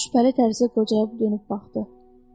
Corc şübhəli tərzdə qocaya dönüb baxdı.